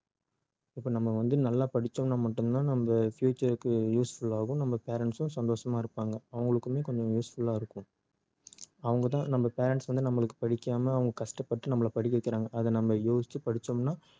இப்ப நம்ம வந்து நல்லா படிச்சோம்னா மட்டும் தான் வந்து நம்ம future க்கு useful ஆவும் நம்ம parents ம் சந்தோஷமா இருப்பாங்க அவங்களுக்குமே கொஞ்சம் useful ஆ இருக்கும் அவங்க தான் நம்ம parents வந்து நம்மளுக்கு படிக்காம அவங்க கஷ்டப்பட்டு நம்மள படிக்க வைக்கிறாங்க அத நம்ம யோசிச்சு படிச்சோம்னா